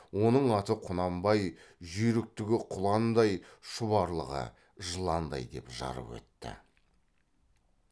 оның аты құнанбай жүйріктігі құландай шұбарлығы жыландай деп жарып өтті